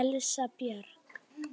Elsa Björg.